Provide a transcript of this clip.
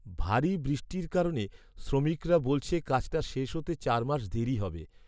ভারী বৃষ্টির কারণে শ্রমিকরা বলছে কাজটা শেষ হতে চার মাস দেরি হবে।